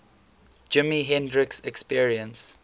jimi hendrix experience